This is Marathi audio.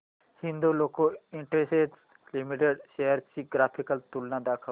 हिंदाल्को इंडस्ट्रीज लिमिटेड शेअर्स ची ग्राफिकल तुलना दाखव